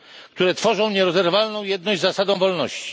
które tworzą nierozerwalną jedność z zasadą wolności.